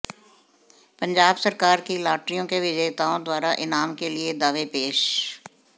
पंजाब सरकार की लॉटरियों के विजेताओं द्वारा इनाम के लिए दावे पेश